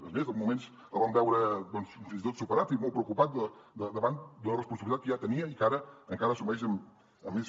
és més uns moments el vam veure fins i tot superat i molt preocupat davant d’una responsabilitat que ja tenia i que ara encara assumeix amb més